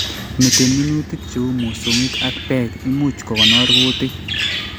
Meten minutik cheu mosongik ak Beek imuch kogonor kutik